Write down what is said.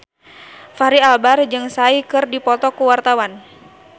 Fachri Albar jeung Psy keur dipoto ku wartawan